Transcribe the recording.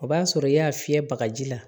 O b'a sɔrɔ i y'a fiyɛ bagaji la